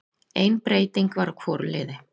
Ein breyting var á hvoru liði.